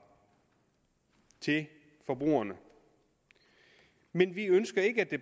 til forbrugerne men vi ønsker